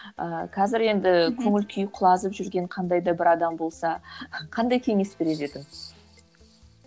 ыыы қазір енді көңіл күйі құлазып жүрген қандай да бір адам болса қандай кеңес берер едің